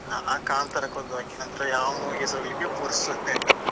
ನಾನಾ ಕಾಂತಾರಕ್ಕೆ ಒಂದು ಅದಕ್ಕಿನಂತರ ಯಾವ್ movie ಗೆಸ ಹೋಗ್ಲಿಕ್ಕೆ ಪುರ್ಸೊತೆ ಇಲ್ಲ.